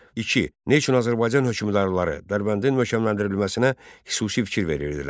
Neçə, nə üçün Azərbaycan hökmdarları Dərbəndin möhkəmləndirilməsinə xüsusi fikir verirdilər?